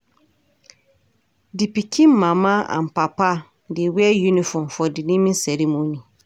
Di pikin mama and papa dey wear uniform for di naming ceremony.